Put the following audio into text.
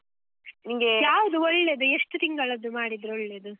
ಒಳ್ಳೇದು? ಎಷ್ಟು ತಿಂಗಳದ್ದು ಮಾಡಿದ್ರೆ ಒಳ್ಳೇದು?